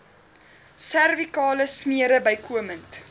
servikale smere bykomend